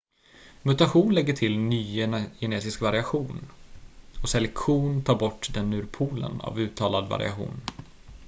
mutation lägger till ny genetisk variation och selektion tar bort den ur poolen av uttalad variation